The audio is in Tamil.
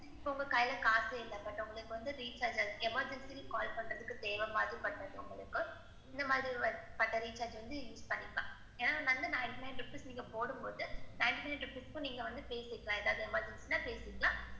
இப்ப உங்க கையில காசே இல்ல but உங்களுக்கு வந்து recharge emergency னு call பண்றதுக்கு தேவ மாதிரி பட்டது உங்களுக்கு, இந்த மாதிரி பண்ற recharge வந்து use பண்ணிக்கலாம். ஏன்னா ninety nine rupees நீங்க போடும் போது ninety nine rupees க்கும் நீங்க வந்து பேசி இருக்கலாம் ஏதாவது emergency ன்னா பேசி இருக்கலாம்.